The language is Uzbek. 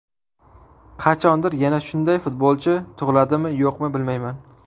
Qachondir yana shunday futbolchi tug‘iladimi, yo‘qmi bilmayman.